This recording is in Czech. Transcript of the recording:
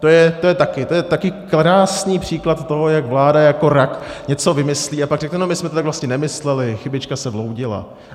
To je taky krásný příklad toho, jak vláda jako rak něco vymyslí, a pak řekne no, my jsme to tak vlastně nemysleli, chybička se vloudila.